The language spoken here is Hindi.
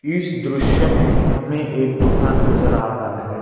इस दृश्य में हमें एक दुकान नजर आ रहा है।